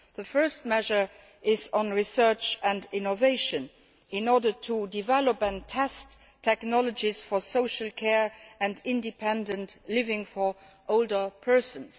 The first measure is on research and innovation in order to develop and test technologies for social care and independent living for older persons.